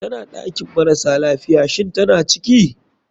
Tana ɗakin marasa lafiya, shinn tana ciki?